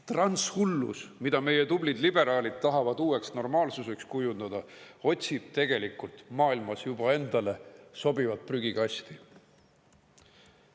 Transhullus, mida meie tublid liberaalid tahavad uueks normaalsuseks kujundada, otsib tegelikult maailmas juba endale sobivat prügikasti.